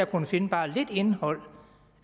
kunnet finde bare lidt indhold